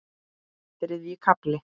Þriðji kafli